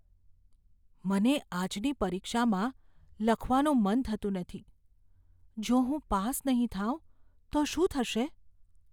મને આજની પરીક્ષામાં લખવાનું મન થતું નથી. જો હું પાસ નહીં થાઉં તો શું થશે?